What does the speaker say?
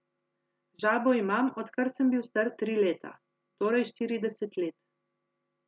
Žabo imam, odkar sem bil star tri leta, torej štirideset let.